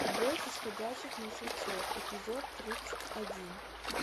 бойтесь ходячих мертвецов эпизод тридцать один